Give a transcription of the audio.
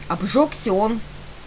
обжёгся он